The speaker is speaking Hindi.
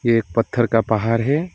ये एक पत्थर का पहाड़ है।